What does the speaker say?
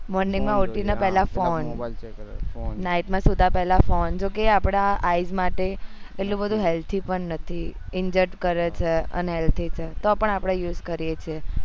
morning માં ઉઠીને પેહલો ફોન night માં સુતા પેહલા ફોન જો કે અપડા માટે એટલું બધું healthy પણ નથી inject કરે છે તો આપણે use કરીએ